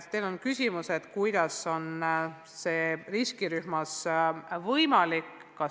Te küsisite, kuidas on kontaktõpe võimalik riskirühmas.